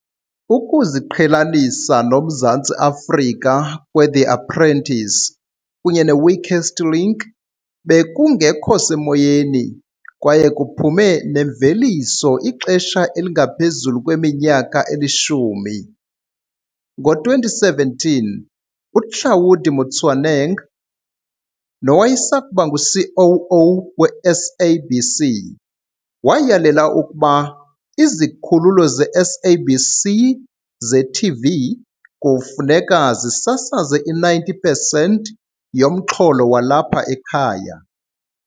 Ukuziqhelanisa noMzantsi Afrika kwe-The Apprentice kunye ne-Weakest Link bekungekho semoyeni kwaye kuphume nemveliso ixesha elingaphezu kweminyaka elishumi. Ngo-2017, uHlaudi Motsoeneng nowayesakuba ngu-COO we-SABC, wayalela ukuba izikhululo ze-SABC ze-TV kufuneka zisasaze i-90 pesenti yomxholo walapha ekhaya.